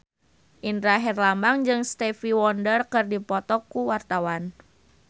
Indra Herlambang jeung Stevie Wonder keur dipoto ku wartawan